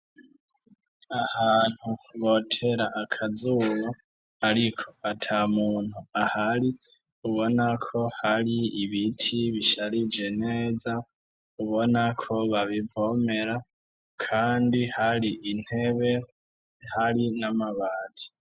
Ahantu botera akazuba ariko ata muntu ahari ubona ko hari ibiti bisharije neza, ubona ko babivomera, kandi hari intebe, hari n'amabati.